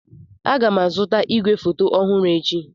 Aga m azụta igwefoto ọhụrụ echi.